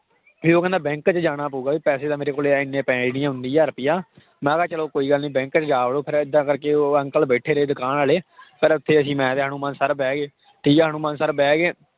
ਵੀ ਉਹ ਕਹਿੰਦਾ bank 'ਚ ਜਾਣਾ ਪਊਗਾ ਵੀ ਪੈਸੇ ਤਾਂ ਮੇਰੇ ਕੋਲ ਇੰਨੇ ਪੈਸੇ ਨੀ ਉਨੀ ਹਜ਼ਾਰ ਰੁਪਇਆ ਮੈਂ ਕਿਹਾ ਚਲੋ ਕੋਈ ਗੱਲ ਨੀ bank 'ਚ ਜਾ ਵੜੋ ਫਿਰ ਏਦਾਂ ਕਰਕੇ ਉਹ ਅੰਕਲ ਬੈਠੇ ਰਹੇ ਦੁਕਾਨ ਵਾਲੇ ਫਿਰ ਉੱਥੇ ਅਸੀਂ ਮੈਂ ਤੇ ਹਨੂੰਮਾਨ sir ਬਹਿ ਗਏ, ਠੀਕ ਹੈ ਹਨੂੰਮਾਨ sir ਬਹਿ ਗਏ